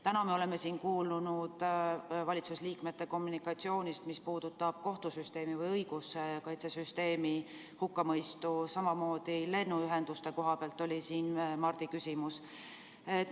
Täna me oleme kuulnud valitsuse liikmete kommunikatsioonist, mis puudutab kohtusüsteemi või õiguskaitsesüsteemi hukkamõistu, samamoodi oli siin Mardil küsimus lennuühenduse kohta.